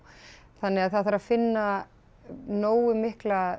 þannig að það þarf að finna nógu mikla